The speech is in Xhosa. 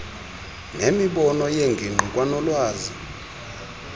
nemibono yengingqi kwanolwazi